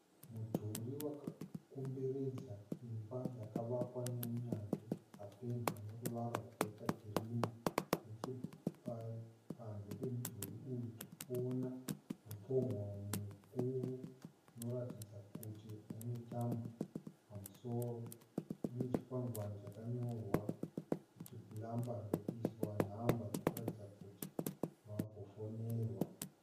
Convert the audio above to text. Mudhuri wakakomberedza imba yakavakwa neunyanzvi ikapendwa neruvara rwakaita kirimu. Nechepanze pemudhuri uyu tirikuona mupongoro mukuru unoratidza kuti une tambo. Pamusoro pane chikwangwani chakanyorwa kuti 'Plumbers' ndokuiswa nhamba dzinoratidza kuti vagofonerwa.